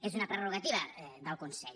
és una prerrogativa del consell